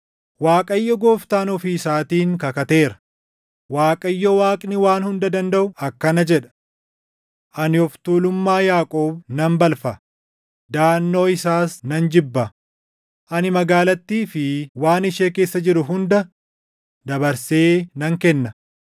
Waaqayyo Gooftaan ofii isaatiin kakateera; Waaqayyo Waaqni Waan Hunda Dandaʼu akkana jedha: “Ani of tuulummaa Yaaqoob nan balfa; daʼannoo isaas nan jibba; ani magaalattii fi waan ishee keessa jiru hunda dabarsee nan kenna.”